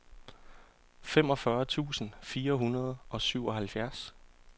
femogfyrre tusind fire hundrede og syvoghalvfjerds